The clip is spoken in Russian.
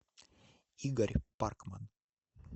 игорь паркман